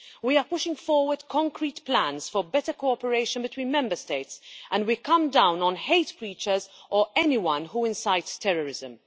We are pushing forward concrete plans for better cooperation between Member States, and we come down on hate preachers or anyone who incites terrorism.